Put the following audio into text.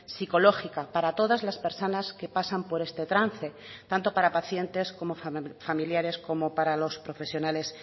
psicológica para todas las personas que pasan por este trance tanto para pacientes como familiares como para los profesionales